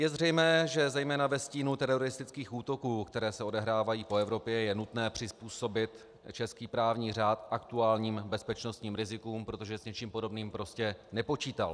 Je zřejmé, že zejména ve stínu teroristických útoků, které se odehrávají po Evropě, je nutné přizpůsobit český právní řád aktuálním bezpečnostním rizikům, protože s něčím podobným prostě nepočítal.